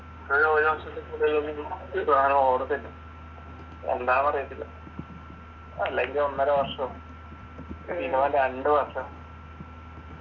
ഇതൊരു ഒരു വർഷത്തിൽക്കൂടുതൽ ഒന്നും ഇ സാനം ഓടത്തില്ല എന്താന്നറിയത്തില്ല അല്ലെങ്കി ഒന്നര വർഷം minimum രണ്ടു വർഷം